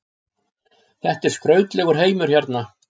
Þetta er skrautlegur heimur hérna.